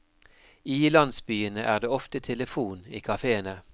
I landsbyene er det ofte telefon i kafèene.